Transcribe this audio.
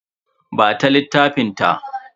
Ba ta littafin ta.